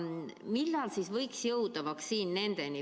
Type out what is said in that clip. Millal võiks jõuda vaktsiin nendeni?